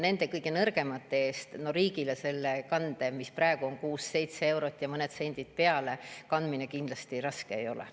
Nende kõige nõrgemate eest riigil selle maksmine – praegu on see summa seitse eurot ja mõned sendid peale – kindlasti raske ei ole.